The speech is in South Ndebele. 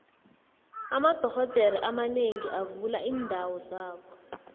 amadoxhodere abanengi bavula iindawo zabo